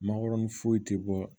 Mangoron foyi tɛ bɔ